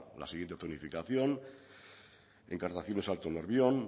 la siguiente zonificación encartaciones alto nervión